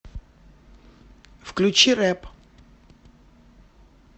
включи рэп